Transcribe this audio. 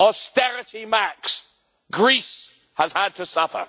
austerity max' Greece has had to suffer.